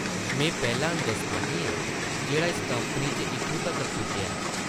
में पैह्ला हिंदोस्तानी आं जेह्ड़ा इस कंपनी च इत्थूं तगर पुज्जेआ ऐ ।